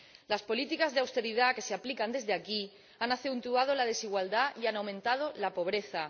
Las políticas de austeridad que se aplican desde aquí han acentuado la desigualdad y han aumentado la pobreza.